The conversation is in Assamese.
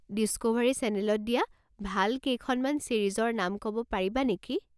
ডিস্কোভাৰী চেনেলত দিয়া ভাল কেইখনমান ছিৰিজৰ নাম ক'ব পাৰিবা নেকি?